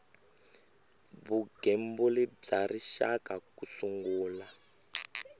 vugembuli bya rixaka ku sungula